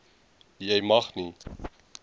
jy mag nie